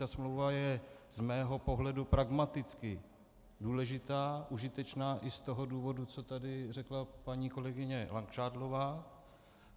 Ta smlouva je z mého pohledu pragmaticky důležitá, užitečná i z toho důvodu, co tady řekla paní kolegyně Langšádlová.